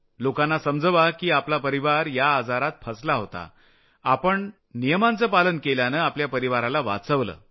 लोकांना समजवा की आपला परिवार या आजारात फसला होता पण आपण नियमांचं पालन केल्यानं आपल्या परिवाराला वाचवलं